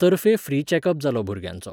तर्फे free checkup जालो भुरग्यांचो.